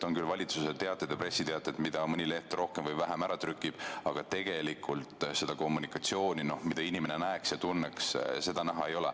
On küll valitsuse pressiteated ja muud teated, mida mõni leht rohkem ja mõni vähem ära trükib, aga tegelikult kommunikatsiooni, mida inimene tunneks, näha ei ole.